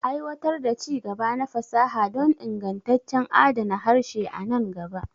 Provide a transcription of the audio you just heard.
Aiwatar da ci-gaba na fasaha don ingantaccen adana harshe a nan gaba.